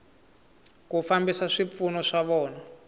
ku fambisa swipfuno swa vona